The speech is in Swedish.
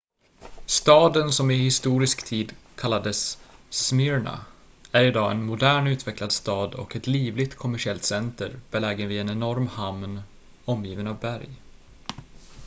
staden som i historisk tid kallades smyrna är idag en modern utvecklad stad och ett livligt kommersiellt center belägen vid en enorm hamn omgiven av berg